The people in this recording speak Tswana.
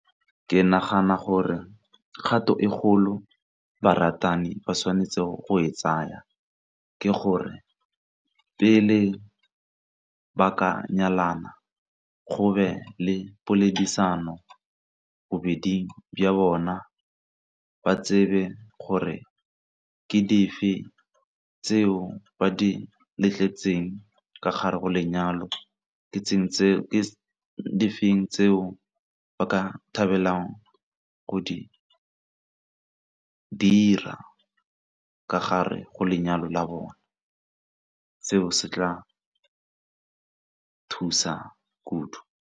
Ke nagana gore kgato e kgolo baratani ba tshwanetseng go e tsaya ke gore pele ba ka nyalana go be le poledisano bobeding bja bona ba tsebe gore ke dife tseo ba di ka gare ga lenyalo, ke di feng tseo ba ka thabelang go di dira ka gare go lenyalo la bone seo se tla thusa kudu.